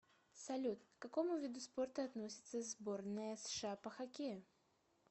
салют к какому виду спорта относится сборная сша по хоккею